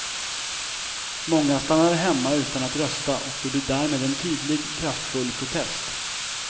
Många stannade hemma utan att rösta och gjorde därmed en tydlig, kraftfull protest.